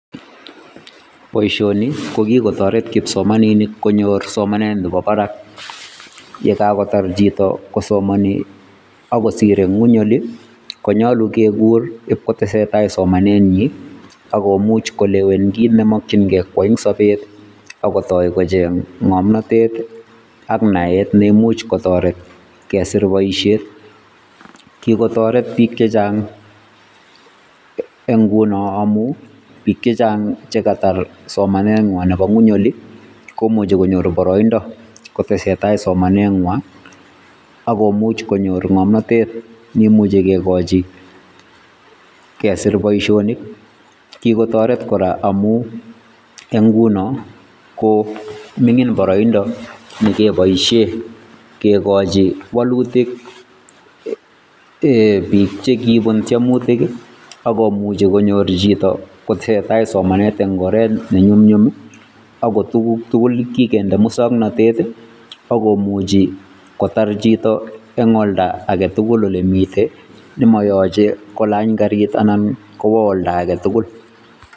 Boishoni ko kitoreek kipsomaninik konyor somanet Nebo barak yekakotar chito kosomoni akosir eng ngwony Oli konyolu kekuur IP kotesentai somanenyin akomuch kolewen kit nemokyingei koyaai eng sober kotoi kocheng ngomnotet ak naet neimuch kotoret kesir boishiet, kikotoreet biik chechang eng ngunon ngamun biik chechang chekatar somanenywan nebo ngweny Oli komuche konyor boroindo kotesentai somanenywan akomuch konyor ngomnotet neimuche kokoichi gee kesir boishonik. Eng ngunon KO mingin boroindo nekeboishien kikochi woluutik bike chekibuun tiemutiik ak komuch konyor chito koseten somanet nenyumnyum ako tuguuk tugul kikinde musoknotet I ako muchi kotar chito eng oldaa tugul olemiiten nemoyoche kolany garit anan kwo oltatugul.